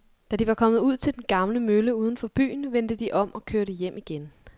Da de var kommet ud til den gamle mølle uden for byen, vendte de om og kørte hjem igen.